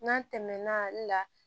N'an tɛmɛna ale la